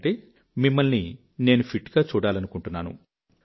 ఎందుకంటే మిమ్మల్ని నేను ఫిట్ గా చూడాలనుకుంటున్నాను